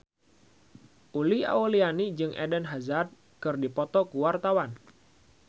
Uli Auliani jeung Eden Hazard keur dipoto ku wartawan